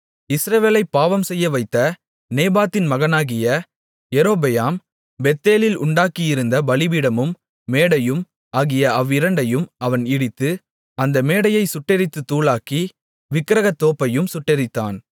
இஸ்ரவேலைப் பாவம்செய்யவைத்த நேபாத்தின் மகனாகிய யெரொபெயாம் பெத்தேலில் உண்டாக்கியிருந்த பலிபீடமும் மேடையும் ஆகிய அவ்விரண்டையும் அவன் இடித்து அந்த மேடையைச் சுட்டெரித்துத் தூளாக்கி விக்கிரகத்தோப்பையும் சுட்டெரித்தான்